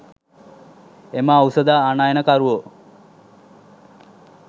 එම ඖෂධ ආනයනකරුවෝ